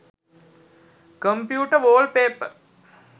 computer wallpaper